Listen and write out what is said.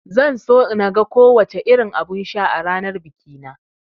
Zan so naga ko wace irin abun sha a ranar bikina